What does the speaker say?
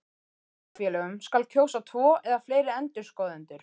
Í hlutafélögum skal kjósa tvo eða fleiri endurskoðendur.